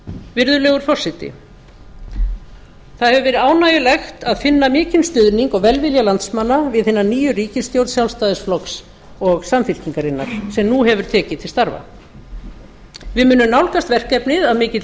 virðulegur forseti það hefur verið ánægjulegt að finna mikinn stuðning og velvilja landsmanna við hina nýju ríkisstjórn sjálfstæðisflokks og samfylkingarinnar sem nú hefur tekið til starfa við munum nálgast verkefnið að mikilli